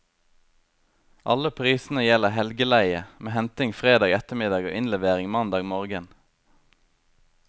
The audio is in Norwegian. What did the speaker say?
Alle prisene gjelder helgeleie, med henting fredag ettermiddag og innlevering mandag morgen.